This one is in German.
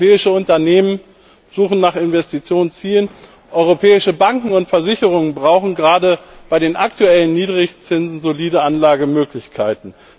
Europäische Unternehmen suchen nach Investitionszielen, europäische Banken und Versicherungen brauchen, gerade bei den aktuellen Niedrigzinsen, solide Anlagemöglichkeiten.